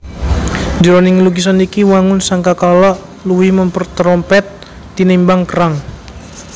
Jroning lukisan iki wangun sangkakala luwih mèmper terompèt tinimbang kerang